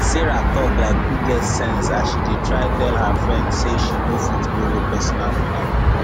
sarah talk like who get sense as she dey try tell her friend say she no fit borrow personal money